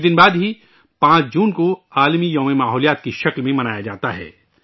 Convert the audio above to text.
کچھ دن بعد ہی ، 5 جون کو 'ماحولیات کا عالمی دن' کے طور پر منایا جاتا ہے